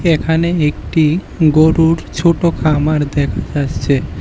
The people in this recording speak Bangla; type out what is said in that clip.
এখানে একটি গরুর ছোট খামার দেখা যাচ্ছে।